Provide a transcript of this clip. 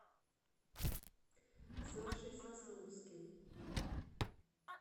сашей сосновским